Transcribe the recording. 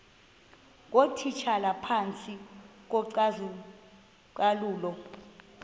ngootitshala phantsi kocalucalulo